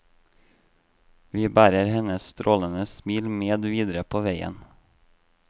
Vi bærer hennes strålende smil med videre på veien.